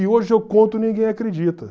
E hoje eu conto e ninguém acredita.